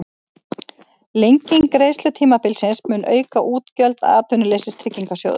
Lenging greiðslutímabilsins mun auka útgjöld Atvinnuleysistryggingasjóðs